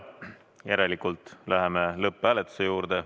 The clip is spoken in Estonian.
Järelikult läheme lõpphääletuse juurde.